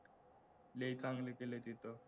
लय चांगलं केलाय तिथं